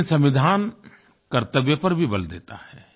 लेकिन संविधान कर्तव्य पर भी बल देता है